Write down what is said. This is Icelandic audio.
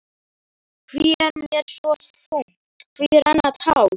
Hví er mér svo þungt, hví renna tár?